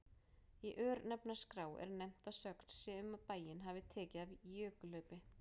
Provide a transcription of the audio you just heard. Í örnefnaskrá er nefnt að sögn sé um að bæinn hafi tekið af í jökulhlaupi.